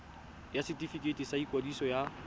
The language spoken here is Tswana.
ya setefikeiti sa ikwadiso ya